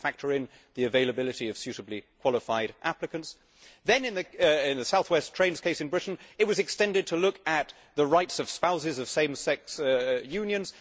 Do they have to factor in the availability of suitably qualified applicants? Then, in the South West Trains case in Britain, it was extended to look at the rights of spouses of same sex unions.